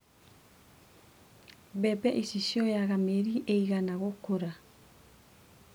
Mbembe ici cioyaga mĩeri ĩigana gũkũra.